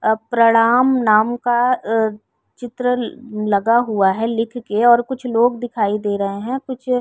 अ प्रणाम नाम का अ चित्र लगा हुआ है लिख के और कुछ लोग दिखाई दे रहे हैं। कुछ --